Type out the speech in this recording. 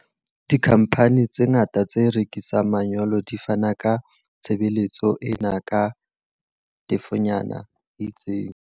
Dikhamphani tse ngata tse rekisang manyolo di fana ka tshebeletso ena ka tefonyana e itseng.